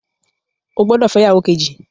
O gbódò fẹ ìyàwó Kejì!